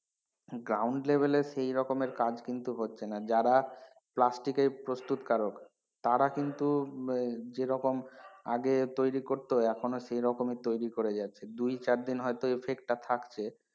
Ground level এ সেইরকম এর কাজ কিন্তু হচ্ছে না যারা plastic এর প্রস্তুত কারক তারা কিন্তু আহ যেরকম আগে তৈরি করতো এখনো সেই রকম তৈরি করে যাচ্ছে দুই চারদিন হয়তো effect টা থাকছে,